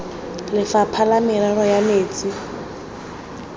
lefapha la merero ya metsi